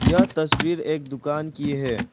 यह तस्वीर एक दुकान की है।